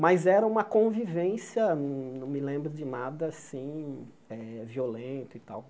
Mas era uma convivência, não me lembro de nada assim eh violento e tal.